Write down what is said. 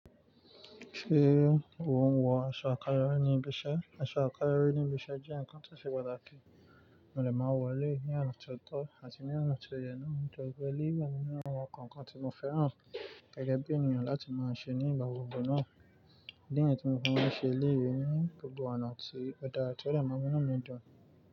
Ṣé o ń wọ aṣọ àkáyọrí ní ibiṣẹ́? Aṣọ àkáyọrí ní ibiṣẹ́ jẹ́ nǹkan tí óṣe pàtàkì, mo dé máa wọ eléyìí ní ọ̀nà tí ó tọ́ àti ní ọ̀nà tí ó yẹ náà. Mo dẹ̀ wo eléyìí ní àwọn nǹkan tí mo fẹ́ràn gẹ́gẹ́ bí ènìyàn láti máa ṣe ní ìgbà gbogbo náà. Ìdí nìyẹn tí mo fi máa ń ṣe eléyìí ní gbogbo ọ̀nà àti ó dára tí ọ̀ dé màá n mú inú mi dùn.